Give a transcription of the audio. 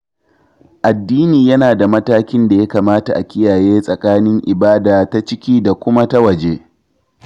Addini yana da matakin da ya kamata a kiyaye tsakanin ibada ta ciki da kuma ta waje.